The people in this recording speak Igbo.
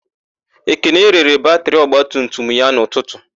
Ekene rere batịrị ogbatumutum ya n'ụtụtụ.